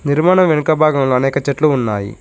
నిర్మాణం వెనుక భాగంలో అనేక చెట్లు ఉన్నాయి.